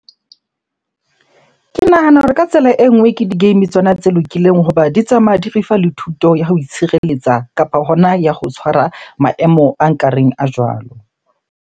Ke nahana hore ka tsela e nngwe ke di-game tsona tse lokileng hoba di tsamaya di re fa le thuto ya ho itshireletsa kapa hona ya ho tshwara maemo a nkareng a jwalo.